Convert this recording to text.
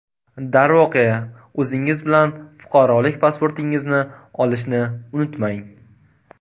Darvoqe, o‘zingiz bilan fuqarolik pasportingizni olishni unutmang!